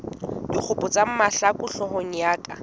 dikgopo tsa mahlaku hloohong ya